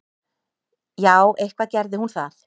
Já, eitthvað gerði hún það.